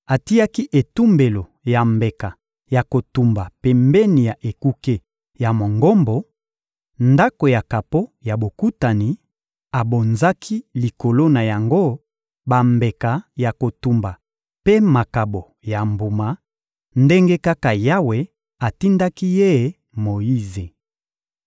Atiaki etumbelo ya mbeka ya kotumba pembeni ya ekuke ya Mongombo, Ndako ya kapo ya Bokutani, abonzaki likolo na yango bambeka ya kotumba mpe makabo ya mbuma, ndenge kaka Yawe atindaki ye Moyize.